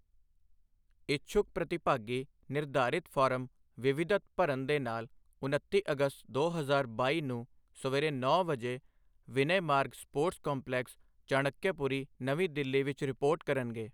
ਇਛੁੱਕ ਪ੍ਰਤੀਭਾਗੀ ਨਿਰਧਾਰਿਤ ਫਾਰਮ ਵਿਵਿਧਤ ਭਰਨ ਦੇ ਨਾਲ ਉਨੱਤੀ ਅਗਸਤ ਦੋ ਹਜ਼ਾਰ ਬਾਈ ਨੂੰ ਸਵੇਰੇ ਨੌਂ ਵਜੇ ਵਿਨਯ ਮਾਰਗ ਸਪੋਰਟਸ ਕੰਪਲੈਕਸ, ਚਾਣਕਯਪੁਰੀ, ਨਵੀਂ ਦਿੱਲੀ ਵਿੱਚ ਰਿਪੋਰਟ ਕਰਨਗੇ।